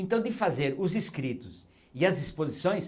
Então de fazer os escritos e as exposições